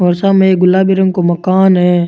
ओ सामे एक गुलाबी रंग को मकान है।